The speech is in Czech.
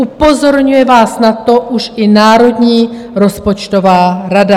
Upozorňuje vás na to už i Národní rozpočtová rada.